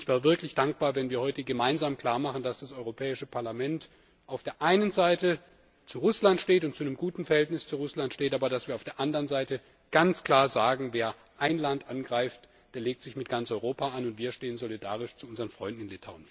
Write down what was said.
Und ich wäre wirklich dankbar, wenn wir heute gemeinsam klarmachen, dass das Europäische Parlament auf der einen Seite zu Russland steht und zu einem guten Verhältnis zu Russland steht, aber dass wir auf der anderen Seite ganz klar sagen Wer ein Land angreift, der legt sich mit ganz Europa an, und wir stehen solidarisch zu unseren Freunden in